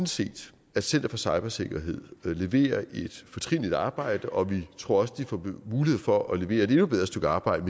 set at center for cybersikkerhed leverer et fortrinligt stykke arbejde og vi tror også de får mulighed for at levere et endnu bedre stykke arbejde